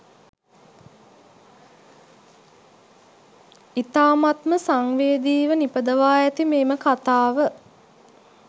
ඉතාමත්ම සංවේදීව නිපදවා ඇති මෙම කතාව